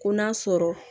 Ko n'a sɔrɔ